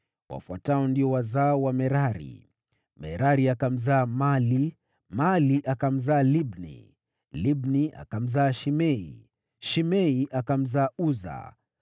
Wafuatao ndio wazao wa Merari: Merari akamzaa Mahli, Mahli akamzaa Libni, Libni akamzaa Shimei, Shimei akamzaa Uza,